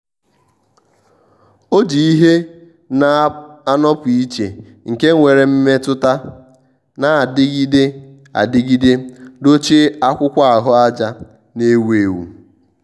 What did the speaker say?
ọ́ jì ìhè nà-ànọ́pụ́ ìchè nke nwere mmètụ́ta nà-adịgide adịgide dochie ákwụ́kwọ́ áhụ́àjà nà-èwú éwú.